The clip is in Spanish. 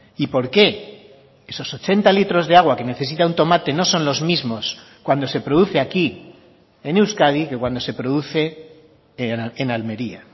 y por qué esos ochenta litros de agua que necesita un tomate no son los mismos cuando se produce aquí en euskadi que cuando se produce en almería